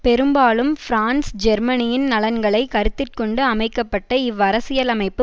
பெரும்பாலும் பிரான்ஸ் ஜெர்மனியின் நலன்களை கருத்திற்கொண்டு அமைக்க பட்ட இவ்வரசியலமைப்பு